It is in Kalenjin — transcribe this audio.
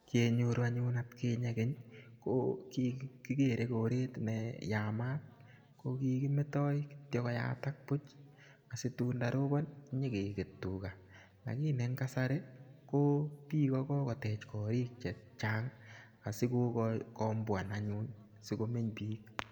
Kenyoru anyun at kinye keny ko kikigwere koret ne yamat ko kikimetai kityo koyatak kityo puch asitun ndaropon nyi keket tuga. Lakini en kasari ko piko ko kotech kariik che chang' asikokombwan anyun asikomeny piik.